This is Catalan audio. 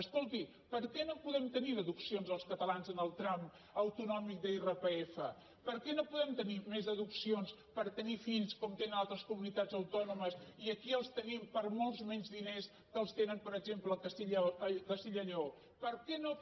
escolti per què no podem tenir deduccions els catalans en el tram autonòmic d’irpf per què no podem tenir més deduccions per tenir fills com tenen altres comunitats autònomes i aquí els tenim per molts menys diners que els tenen per exemple a castella lleó per què no per